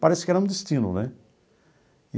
Parece que era um destino, né?